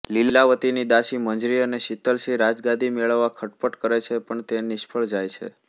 લીલાવતીની દાસી મંજરી અને શીતલસિંહ રાજગાદી મેળવવા ખટપટ કરે છે પણ તે નિષ્ફળ જાય છે